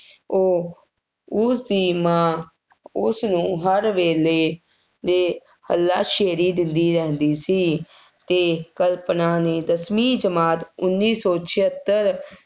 ਉਹ ਉਸਦੀ ਮਾਂ ਉਸਨੂੰ ਹਰ ਵੇਲੇ 'ਤੇ ਹੱਲ੍ਹਾ ਸ਼ੇਰੀ ਦਿੰਦੀ ਰਹਿੰਦੀ ਸੀ ਅਤੇ ਕਲਪਨਾ ਨੇ ਦਸਵੀਂ ਜਮਾਤ ਉੱਨੀ ਸੌ ਛੇਹੱਤਰ